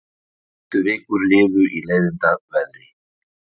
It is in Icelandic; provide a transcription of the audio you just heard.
Næstu vikur liðu í leiðindaveðri.